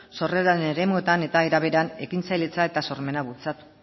sorreraren eremuetan eta era berean ekintzailetza eta sormena bultzatu